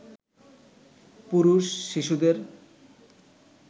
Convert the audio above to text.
পুরুষ, শিশুদের